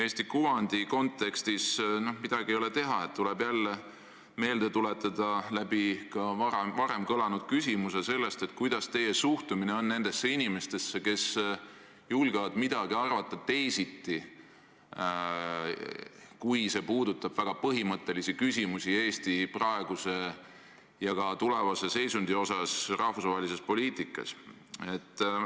Eesti kuvandi kontekstis, midagi ei ole teha, tuleb jälle meelde tuletada – see kõlas ka enne läbi –, milline on teie suhtumine nendesse inimestesse, kes julgevad midagi arvata teisiti, kui asi puudutab väga põhimõttelisi küsimusi Eesti praeguse ja ka tulevase seisundi osas rahvusvahelises poliitikas.